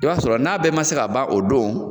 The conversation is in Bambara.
I b'a sɔrɔ n'a bɛɛ man se ka ban o don